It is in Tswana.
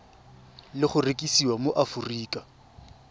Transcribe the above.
le go rekisiwa mo aforika